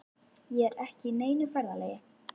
Ég er ekki á neinu ferðalagi.